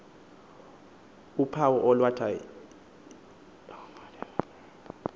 uphawu olwalathwa yiyunifom